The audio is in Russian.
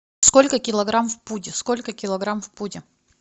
сколько килограмм в пуде сколько килограмм в пуде